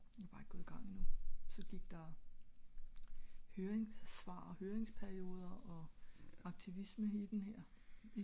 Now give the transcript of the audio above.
jeg er bare ikke gået i gang endnu så gik der høringssvar og hørringsperioder og aktivisme i den her